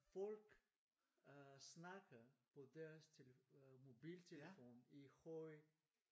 Folk øh snakker på deres mobiltelefon i høj